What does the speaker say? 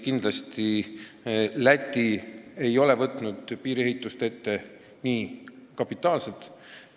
Kindlasti ei ole Läti piiriehitust nii kapitaalselt ette võtnud.